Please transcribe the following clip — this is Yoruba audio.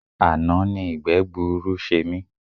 Àná ni ìgbẹ́gbuuru ṣe mí.